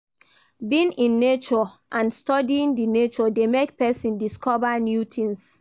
Being in nature and studying di nature de make persin discover new things